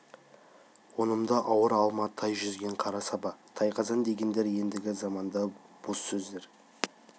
онымды ауыр алма тай жүзген қара саба тайқазан дегендер ендігі заманда бос сөздер